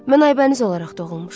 Mən Aybəniz olaraq doğulmuşam.